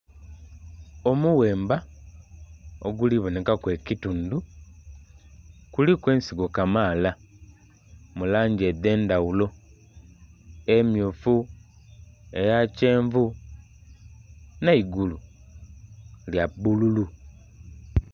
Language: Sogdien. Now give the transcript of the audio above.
Omughemba oguli bonekaku ekitundhu kuliku ensigo kamaala mu langi edh'endhaghulo- emmyufu, eya kyenvu n'eigulu lya bbululu.